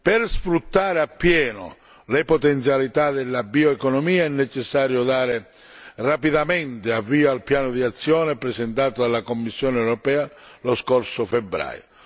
Per sfruttare appieno le potenzialità della bioeconomia è necessario dare rapidamente avvio al piano d'azione presentato dalla Commissione europea lo scorso febbraio.